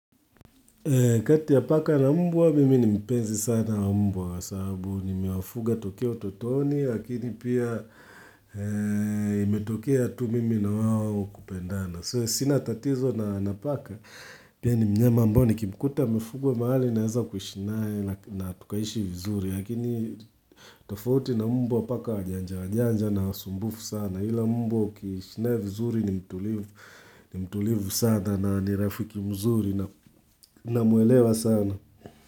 Kati ya paka na mbwa mimi ni mpenzi sana wa mbwa kwa sababu nimemawafuga tokea utotoni lakini pia imetokea tu mimi na wao kupendana. So sina tatizo na na paka pia ni mnyama ambao nikimkuta amefugwa mahali naeza kuishi naye na tukaishi vizuri lakini tofauti na mbwa wa paka wajanja wanjanja na wasumbufu sana.ila mbwa ukiishi naye vizuri ni mtulivu ni mtulivu sana na ni rafiki mzuri namwelewa sana.